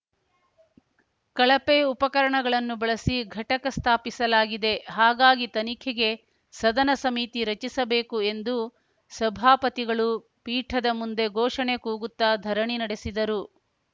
ಕಳಪೆ ಉಪಕರಣಗಳನ್ನು ಬಳಸಿ ಘಟಕ ಸ್ಥಾಪಿಸಲಾಗಿದೆ ಹಾಗಾಗಿ ತನಿಖೆಗೆ ಸದನ ಸಮಿತಿ ರಚಿಸಬೇಕು ಎಂದು ಸಭಾಪತಿಗಳು ಪೀಠದ ಮುಂದೆ ಘೋಷಣೆ ಕೂಗುತ್ತಾ ಧರಣಿ ನಡೆಸಿದರು